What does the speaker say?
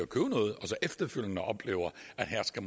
købe noget og så efterfølgende oplever at her skal